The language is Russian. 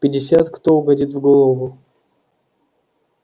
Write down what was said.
пятьдесят кто угодит в голову